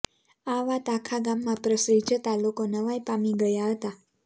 આ વાત આખા ગામમાં પ્રસરી જતાં લોકો નવાઈ પામી ગયા હતા